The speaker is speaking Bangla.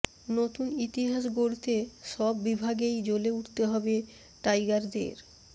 নতুন ইতিহাস গড়তে সব বিভাগেই জ্বলে উঠতে হবে টাইগারদের